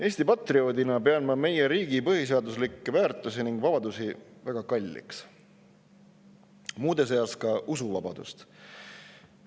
Eesti patrioodina pean ma meie riigi põhiseaduslikke väärtusi ja vabadusi väga kalliks, muude seas ka usuvabadust.